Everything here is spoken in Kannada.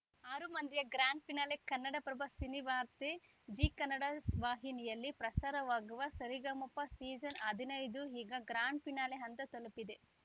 ಆರು ಮಂದಿಯ grand finale Kannadaprabha ಸಿನಿವಾರ್ತೆ Zee Kannada ವಾಹಿನಿಯಲ್ಲಿ ಪ್ರಸಾರವಾಗುವ ಸರಿಗಮಪ ಸೀಸನ್‌ ಹದಿನೈದು ಈಗ ಗ್ರಾಂಡ್‌ ಫಿನಾಲೆ ಹಂತ ತಲುಪಿದೆ